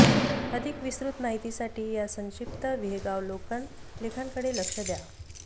अधिक विस्तृत माहितीसाठी या संक्षिप्त विहंगावलोकन लेखांकडे लक्ष द्या